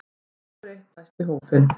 Nú hefur eitt bæst í hópinn